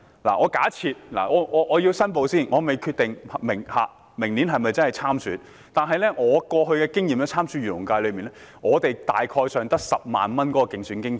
讓我先作出申報，我尚未決定明年會否參選，但根據我過去參選漁農界功能界別的經驗，候選人大概只有10萬元競選經費。